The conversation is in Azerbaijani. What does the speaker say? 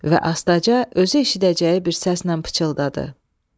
Və astaca özü eşidəcəyi bir səslə pıçıldadı.